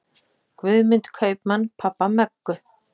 Guðmund kaupmann pabba Möggu.